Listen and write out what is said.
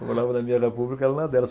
Eu morava na minha república, ela na dela.